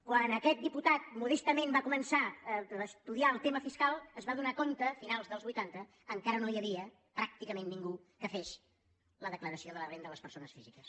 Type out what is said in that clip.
quan aquest diputat modestament va co·mençar a estudiar el tema fiscal es va adonar a finals dels vuitanta que encara no hi havia pràcticament ningú que fes la declaració de la renda de les persones físiques